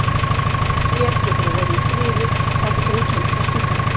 Hér getur hún verið í friði þangað til hún kemst á spítalann.